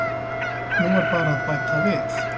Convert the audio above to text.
Nú er bara að bæta við.